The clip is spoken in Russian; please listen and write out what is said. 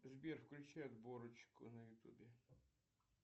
сбер включи отборочку на ютубе